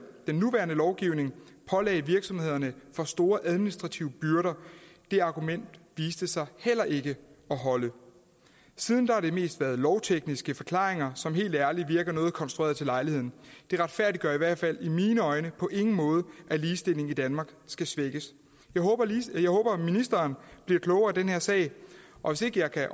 nuværende lovgivning pålagde virksomhederne for store administrative byrder det argument viste sig heller ikke at holde siden har det mest været lovtekniske forklaringer som helt ærlig virker noget konstruerede til lejligheden det retfærdiggør i hvert fald i mine øjne på ingen måde at ligestillingen i danmark skal svækkes jeg håber at ministeren bliver klogere i den her sag og hvis ikke jeg kan